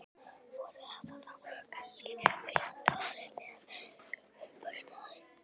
Voru þetta þá kannski réttu orðin þegar upp var staðið?